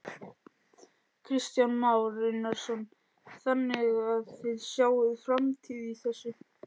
Kristján Már Unnarsson: Þannig að þið sjáið framtíð í þessu?